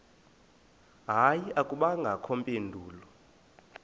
hayi akubangakho mpendulo